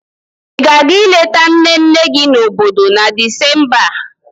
Ị ga-aga ileta nne nne gị nọ n'obodo na Disemba a?